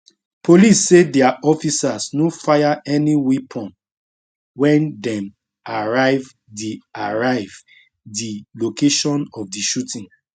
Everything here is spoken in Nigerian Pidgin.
police say dia officers no fire any weapon wen dem arrive di arrive di location of di shooting